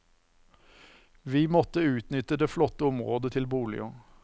Vi må utnytte det flotte området til boliger.